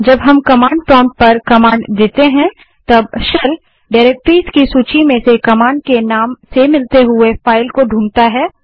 जब हम command prompt पर कमांड देते हैं तब शेल डाइरेक्टरीज़ की सूची में से कमांड के नाम से मिलती हुई फाइल को ढूँढता है